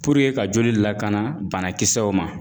ka joli lakana banakisɛw ma